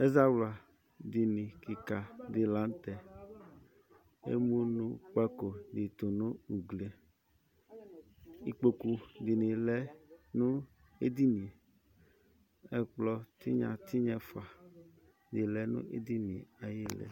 Ɛzawladínì kika di la n'tɛ, ɛmunukpako di tù nu uglie, ikpoku di ni bi lɛ n'edinìe, k'ɛkplɔ tinya tinya ɛfua di lɛ nu edinìe ayili